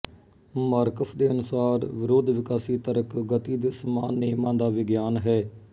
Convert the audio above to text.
marks ਦੇ ਅਨੁਸਾਰ ਵਿਰੋਧਵਿਕਾਸੀ ਤਰਕ ਗਤੀ ਦੇ ਸਮਾਨ ਨਿਯਮਾਂ ਦਾ ਵਿਗਿਆਨ ਹੈ